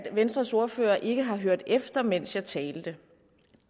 venstres ordfører ikke har hørt efter mens jeg talte